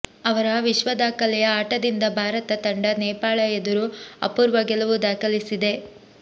ಅವರ ವಿಶ್ವದಾಖಲೆಯ ಆಟದಿಂದ ಭಾರತ ತಂಡ ನೇಪಾಳ ಎದುರು ಅಪೂರ್ವ ಗೆಲುವು ದಾಖಲಿಸಿದೆ